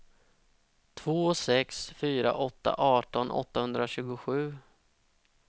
två sex fyra åtta arton åttahundratjugosju